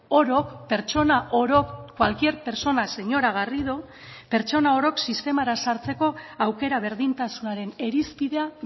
orok pertsona orok cualquier persona señora garrido pertsona orok sistemara sartzeko aukera berdintasunaren irizpidea